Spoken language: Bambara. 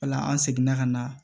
O la an seginna ka na